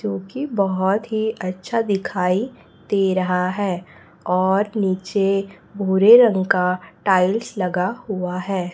जो की बहोत ही अच्छा दिखाई दे रहा है और नीचे भुरे रंग का टाईल्स लगा हुआ है।